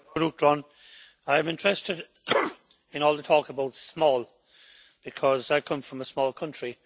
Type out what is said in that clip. Mr President, I am interested in all the talk about small' because I come from a small country.